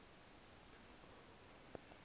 eno ka okanye